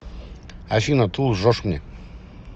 афина ты лжешь мне